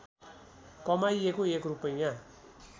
कमाइएको एक रूपैयाँ